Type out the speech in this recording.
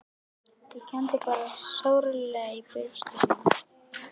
Ég kenndi bara sárlega í brjósti um hann.